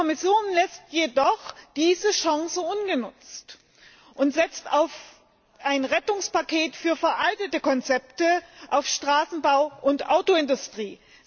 Die Kommission lässt jedoch diese Chance ungenutzt und setzt auf ein Rettungspaket für veraltete Konzepte, auf Straßenbau und Autoindustrie.